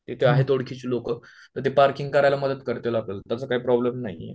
तिथे आहेत ओळखीचे लोकं तर ते पार्किंग करायला मदत करतील आपल्याला त्याचा काय प्रोब्लेम नाहीये